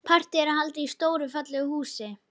Partíið er haldið í stóru og fallegu húsi.